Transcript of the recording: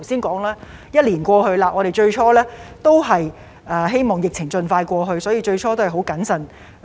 我們最初希望疫情盡快過去，因此行事也是很謹慎。